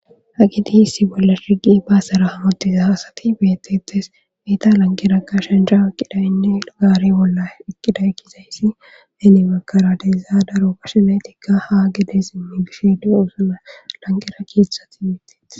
hagiti issi bolla dhigi baasara hamodiza haasati beetetes miita lanqeraka shanjha iqqidayinne gaari bolla eqqida ekkizayssi heni makaradeza daro pashenaytikka ha gedes immigishede osuna lanqera kieththati beetetes